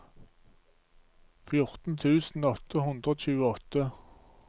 fjorten tusen åtte hundre og tjueåtte